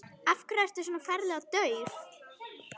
Af hverju ertu svona ferlega dauf?